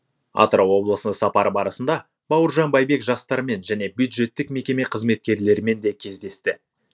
атырау облысына сапары барысында бауыржан байбек жастармен және бюджеттік мекеме қызметкерлерімен де кездесті